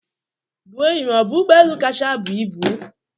Boeing bụ ụgbọ elu kacha ibu?